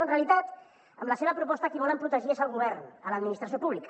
en realitat amb la seva proposta a qui volen protegir és el govern l’administració pública